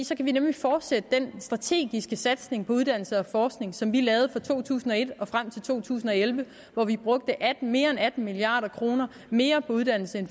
så kan vi nemlig fortsætte den strategiske satsning på uddannelse og forskning som vi lavede fra to tusind og et og frem til to tusind og elleve hvor vi brugte mere end atten milliard kroner mere på uddannelse